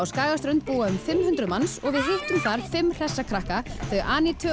Skagaströnd búa um fimm hundruð manns og við hittum þar fimm hressa krakka þau